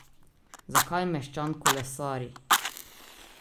Zakaj meščan kolesari?